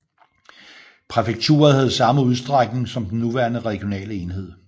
Præfekturet havde samme udstrækning som den nuværende regionale enhed